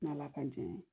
N'ala ka jɛ ye